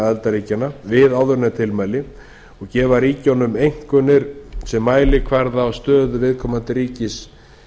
aðildarríkjanna við áðurnefnd tilmæli og gefa ríkjunum einkunnir sem mælikvarða á stöðu viðkomandi ríkis